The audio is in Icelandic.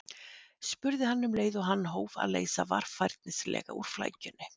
spurði hann um leið og hann hóf að leysa varfærnislega úr flækjunni.